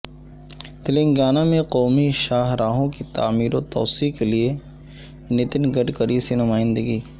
تلنگانہ میں قومی شاہراہوں کی تعمیر و توسیع کیلئے نتن گڈکری سے نمائندگی